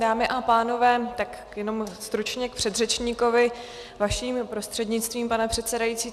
Dámy a pánové, tak jenom stručně k předřečníkovi, vaším prostřednictvím, pane předsedající.